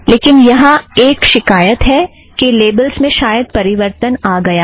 लेकिन यहाँ एक शिकायत है कि लेबलस् में शायद परिवर्तन आ गया है